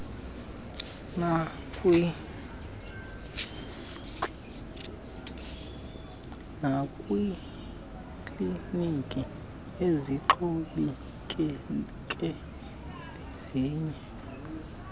nakwiikliniki ezixhomekeke kwezinye